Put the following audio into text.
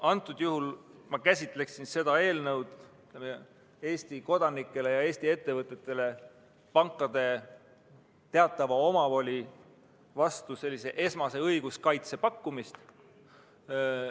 Antud juhul ma käsitleksin seda eelnõu Eesti kodanikele ja Eesti ettevõtetele pankade teatava omavoli vastu sellise esmase õiguskaitse pakkumisena.